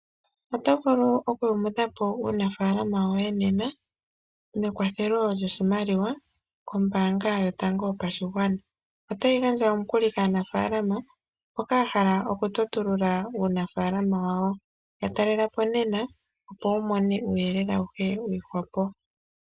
Oto vulu okuyumudha po uunafaalama woye nena nekwathelo lyoshimaliwa kombaanga yotango yopashigwana. Otayi gandja omukuli kaanafaalama mboka yahala okutotulula uunafaalama wawo. Yatalela po nena opo wumone uuyelele awuhe wiihwapo.